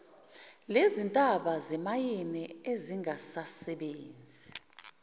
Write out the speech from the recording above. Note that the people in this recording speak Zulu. lezintaba zemayini ezingasasebenzi